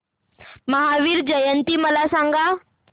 महावीर जयंती मला सांगा